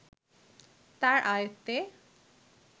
তাঁর আয়ত্তে